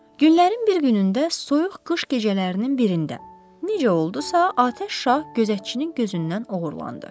Günlərin bir günündə, soyuq qış gecələrinin birində necə oldusa, Atəş şah gözətçinin gözündən oğurlandı.